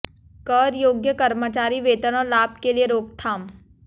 कर योग्य कर्मचारी वेतन और लाभ के लिए रोकथाम